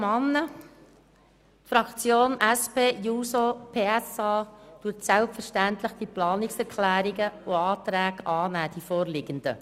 Die Fraktion SPJUSO-PSA nimmt selbstverständlich die vorliegenden Planungserklärungen an.